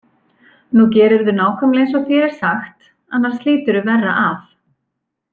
Nú gerirðu nákvæmlega eins og þér er sagt, annars hlýturðu verra af.